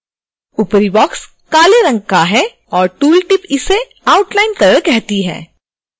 ऊपरी बॉक्स काले रंग का है और टूल टिप इसे outline color कहती है